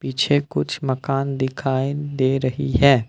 पीछे कुछ मकान दिखाई दे रही है।